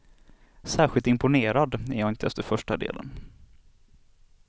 Särskilt imponerad är jag inte efter första delen.